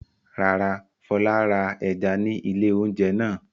Rárá, Fọlá ra ẹja ní ilé-oúnjẹ náà.